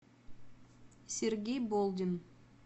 сергей болдин